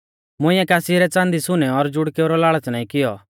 मुंइऐ कासी रै च़ांदी सुनै और जुड़केऊ रौ लाल़च़ नाईं कियौ